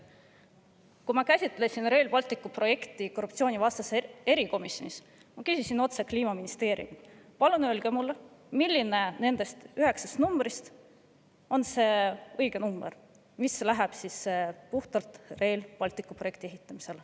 Kui me korruptsioonivastases erikomisjonis seda Rail Balticu projekti käsitlesime, siis ma küsisin Kliimaministeeriumilt otse: "Palun öelge mulle, milline nendest üheksast numbrist on see õige number, mis läheb puhtalt Rail Balticu projekti ehitamisse.